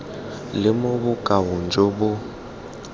le mo bokaong jo bo